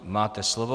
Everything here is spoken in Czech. Máte slovo.